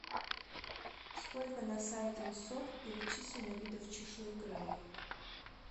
сколько на сайте мсоп перечислено видов чешуекрылых